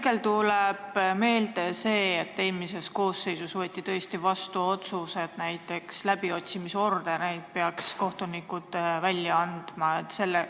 Mulle tuleb meelde, et eelmises koosseisus võeti tõesti vastu otsus, et näiteks läbiotsimisordereid peaksid välja andma kohtunikud.